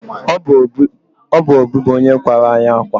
obụ obi bụ onye kwàrá anyị akwa